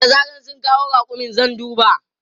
Da zaran sun kawo raƙumin zan duba.